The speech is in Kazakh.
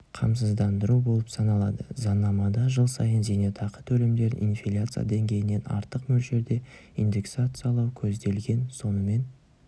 қамсыздандыру болып саналады заңнамада жыл сайын зейнетақы төлемдерін инфляция деңгейінен артық мөлшерде индексациялау көзделген сонымен